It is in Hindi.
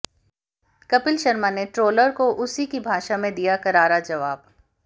कपिल शर्मा ने ट्रोलर को उसी की भाषा में दिया करारा जवाब